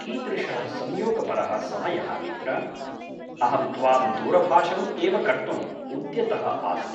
कीदृशः संयोगपरः समयः मित्र! अहं त्वां दूरभाषम् एव कर्तुम् उद्यतः आसम्।